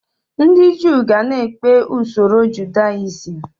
Ndị Jew ga-na ekpe usoro Judaism